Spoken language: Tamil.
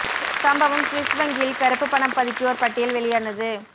சம்பவம் சுவிஸ் வங்கியில் கறுப்பு பணம் பதுக்கியோர் பட்டியல் வெளியானது